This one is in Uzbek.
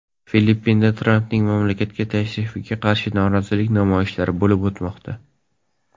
Filippinda Trampning mamlakatga tashrifiga qarshi norozilik namoyishlari bo‘lib o‘tmoqda.